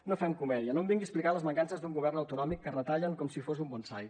no fem comèdia no em vingui a explicar les mancances d’un govern autonòmic que retallen com si fos un bonsai